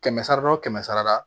Kɛmɛ sara la o kɛmɛ sara la